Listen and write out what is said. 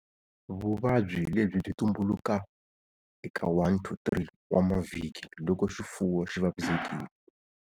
Vuvabyi lebyi byi tumbuluka eka 1-3 wa mavhiki loko xifuwo xi vavisekile.